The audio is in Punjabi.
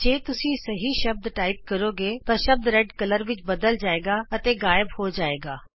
ਜੇ ਤੁਸੀਂ ਸਹੀ ਸ਼ਬਦ ਟਾਈਪ ਕਰੋਗੇ ਤਾਂ ਸ਼ਬਦ ਲਾਲ ਰੰਗ ਵਿਚ ਤਬਦੀਲ ਹੋ ਜਾਣਗੇ ਅਤੇ ਗਾਇਬ ਹੋ ਜਾਣਗੇ